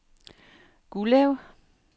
Gullev